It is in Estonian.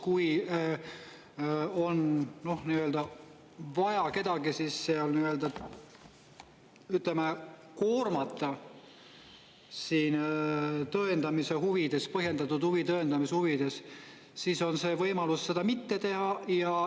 Kui on vaja kedagi, ütleme, koormata tõendamise huvides, põhjendatud huvi tõendamise huvides, siis on võimalus seda mitte teha.